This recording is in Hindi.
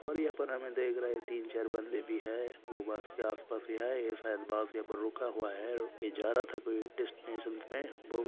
और यहा पर देख रहे है तीन चार बन्दे भी है वो बस के आसपास ही है शायद बस यहां पर रुका हुआ है या जा रहा था डेस्टिनेशन मे।